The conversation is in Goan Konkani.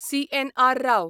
सी.एन.आर. राव